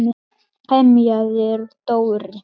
emjaði Dóri.